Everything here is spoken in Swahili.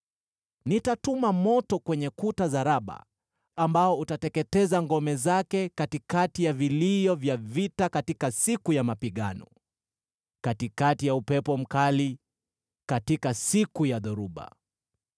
Nitatuma moto kwenye kuta za Raba ambao utateketeza ngome zake katikati ya vilio vya vita katika siku ya mapigano, katikati ya upepo mkali katika siku ya dhoruba.